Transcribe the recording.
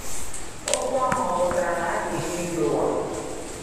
Okwu ahụ ọ pụtara na a ga emebi ụwa?